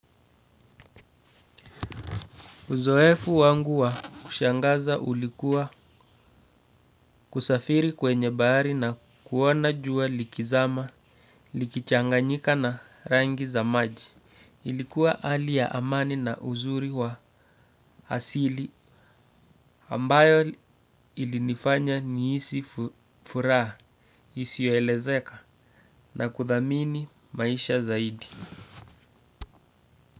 Uzoefu wangu wa kushangaza ulikuwa kusafiri kwenye bahari na kuona jua likizama, likichanganyika na rangi za maji. Ilikuwa hali ya amani na uzuri wa asili ambayo ilinifanya nihisi furaha, isiyoelezeka na kuthamini maisha zaidi.